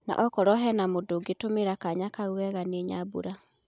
Na okorwo hena mũndũ ũngetũmira kanya kau wega ni Nyambura